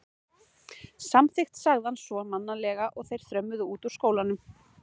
Samþykkt sagði hann svo mannalega og þeir þrömmuðu út úr skólanum.